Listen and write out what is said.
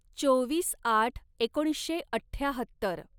चोवीस आठ एकोणीसशे अठ्ठ्याहत्तर